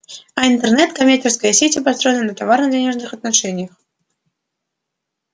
а интернет коммерческая сеть и построена на товарно-денежных отношениях